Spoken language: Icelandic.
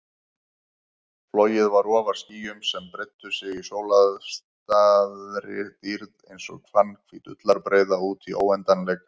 Flogið var ofar skýjum sem breiddu sig í sólstafaðri dýrð einsog fannhvít ullarbreiða útí óendanleikann.